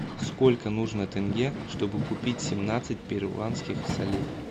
сколько нужно тенге чтобы купить семнадцать перуанских солей